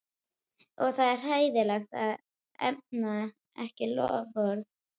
Og það er hræðilegt að efna ekki loforð.